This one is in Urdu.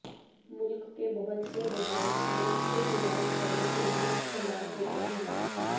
ملک کے بہت سے رہائشیوں خود علاج کرنے کے لئے استعمال ہوتے ہیں